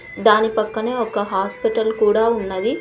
దాని పక్కనే ఒక హాస్పిటల్ కూడా ఉన్నది.